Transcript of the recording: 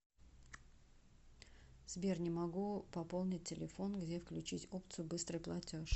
сбер не могу пополнить телефон где включить опцию быстрый платеж